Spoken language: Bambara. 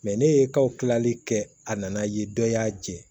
ne ye kawulali kɛ a nana ye dɔ y'a jɛ